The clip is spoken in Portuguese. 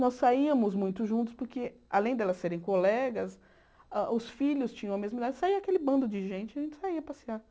Nós saíamos muito juntos porque, além delas serem colegas, a os filhos tinham a mesma idade, saía aquele bando de gente e a gente saía passear.